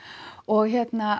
og